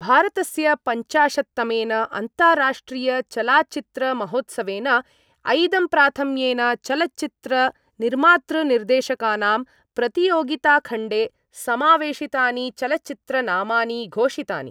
भारतस्य पञ्चाशत्तमेन अन्ताराष्ट्रियचलाच्चित्रमहोत्सवेन ऐदंप्राथम्येन चलच्चित्रनिर्मातृनिर्देशकानां प्रतियोगिताखण्डे समावेशितानि चलच्चित्रनामानि घोषितानि।